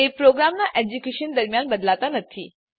તે પ્રોગ્રામનાં એક્ઝેક્યુશન દરમ્યાન બદલાતા નથી